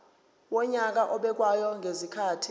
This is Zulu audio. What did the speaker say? wonyaka obekwayo ngezikhathi